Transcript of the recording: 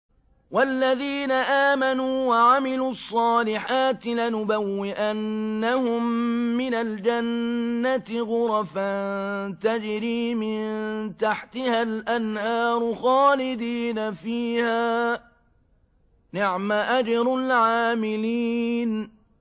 وَالَّذِينَ آمَنُوا وَعَمِلُوا الصَّالِحَاتِ لَنُبَوِّئَنَّهُم مِّنَ الْجَنَّةِ غُرَفًا تَجْرِي مِن تَحْتِهَا الْأَنْهَارُ خَالِدِينَ فِيهَا ۚ نِعْمَ أَجْرُ الْعَامِلِينَ